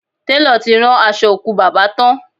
Télọ̀ ti rán aṣọ òkú bàbá tán